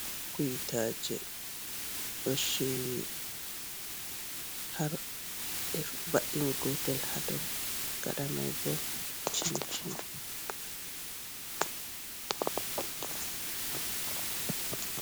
Kuyitaje ɗo shiryi har be va'ini gotel hadow gada mai bo.